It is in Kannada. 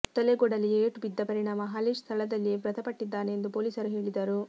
ತಲೆಗೆ ಕೊಡಲಿ ಏಟು ಬಿದ್ದ ಪರಿಣಾಮ ಹಾಲೇಶ್ ಸ್ಥಳದಲ್ಲಿಯೇ ಮೃತಪಟ್ಟಿದ್ದಾನೆಂದು ಪೋಲೀಸರು ಹೇಳಿದರು